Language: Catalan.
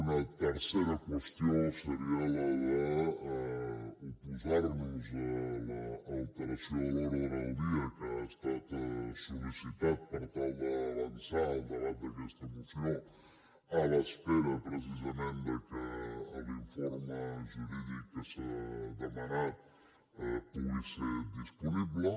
una tercera qüestió seria la d’oposar nos a l’alteració de l’ordre del dia que ha estat sol·licitat per tal d’avançar el debat d’aquesta moció a l’espera precisament de que l’informe jurídic que s’ha demanat pugui ser disponible